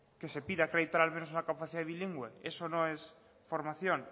que se pida acreditar al menos una capacidad de bilingüe eso no es formación